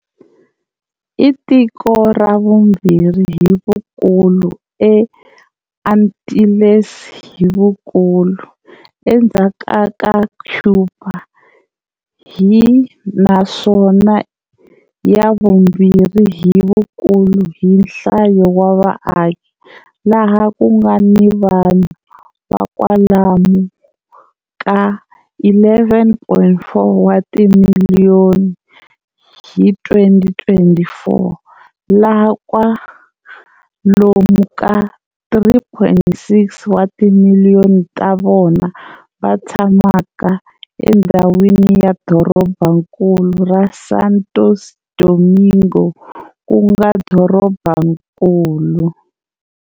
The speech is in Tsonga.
I tiko ra vumbirhi hi vukulu eAntilles hi vukulu, endzhaku ka Cuba, hi, naswona i ya vumbirhi hi vukulu hi nhlayo ya vaaki, laha ku nga ni vanhu va kwalomu ka 11,4 wa timiliyoni hi 2024, laha kwalomu ka 3,6 wa timiliyoni ta vona va tshamaka endhawini ya dorobankulu ra Santo Domingo, ku nga dorobankulu.